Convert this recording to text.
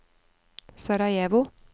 Sarajevo